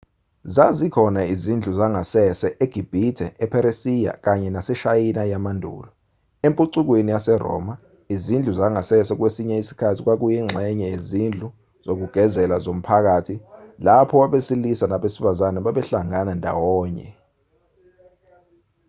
zazikhona izindlu zangasese egibhithe epheresiya kanye naseshayina yamandulo empucukweni yaseroma izindlu zangasese kwesinye isikhathi kwakuyingxenye yezindlu zokugezela zomphakathi lapho abasilisa nabesifazana babehlangana ndawonye